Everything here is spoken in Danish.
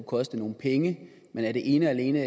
koste nogle penge men er det ene og alene